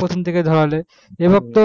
প্রথম থেকে ধরালে এবার তো